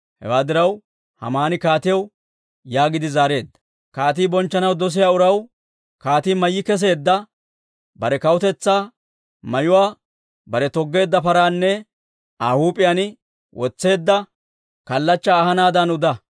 Hewaa diraw, Haamani kaatiyaw yaagiide zaareedda; «Kaatii bonchchanaw dosiyaa uraw kaatii mayyi keseedda bare kawutetsaa mayuwaa; bare toggeedda paraanne Aa huup'iyaan wotseedda kallachchaa ahanaadan uda.